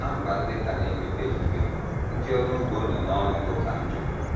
Ná mba ndị ka na - emepe emepe, ndị ọrụ ugbo nọ n’ọnọdụ ka njọ.